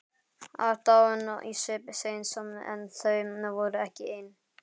Aðdáun í svip Sveins en þau voru ekki ein.